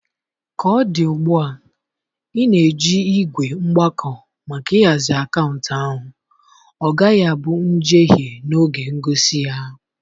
Ka ọ dị ugbu a, ị na-eji ígwè mgbako maka ịhazi akaụntụ ahụ, ọ gaghị abụ njehie n'oge ngosi gị.